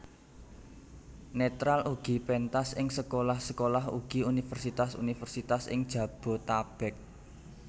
Netral ugi pentas ing sekolah sekolah ugi universitas universitas ing Jabotabek